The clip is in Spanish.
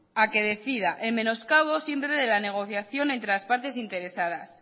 a que decida en menoscabo siempre de la negociación entre las partes interesadas